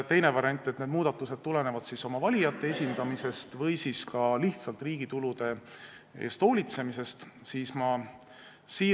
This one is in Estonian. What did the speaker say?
Teine variant on, et muudatused tulenevad valijate tahte esindamisest või ka lihtsalt riigi tulude eest hoolitsemise vajadusest.